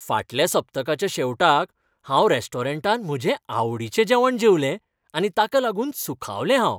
फाटल्या सप्तकाच्या शेवटाक हांव रेस्टॉरंटांत म्हजें आवडीचें जेवण जेवलें आनी ताका लागून सुखावलें हांव.